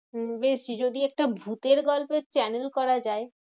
উম দেখছি, যদি একটা ভুতের গল্পের channel করা যায়।